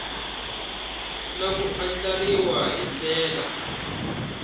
na ku andlariwa hi ndlela